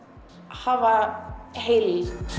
hafa heild